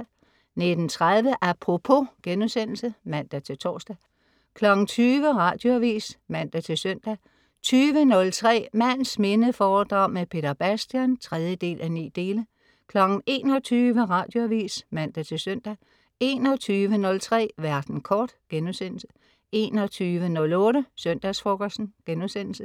19.30 Apropos* (man-tors) 20.00 Radioavis (man-søn) 20.03 Mands minde foredrag med Peter Bastian 3:9 21.00 Radioavis (man-søn) 21.03 Verden kort* 21.08 Søndagsfrokosten*